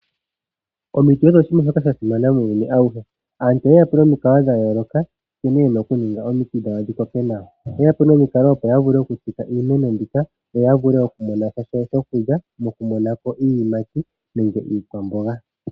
Omiti odho oshinima shoka sha simana muuyunu auhe. Aantu oye yapo nomikalo dhayooloka nkene yena oku ninga opo ya kokeke omiti dhawo, oye yapo nomikalo dhoku tsika iimeno mbika yo ya vule oku monasha shokulya moku munako iiyimati nenge iikwamboga.